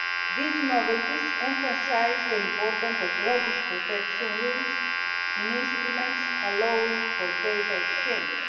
These novelties emphasise the importance of robust protection rules in instruments allowing for data exchange.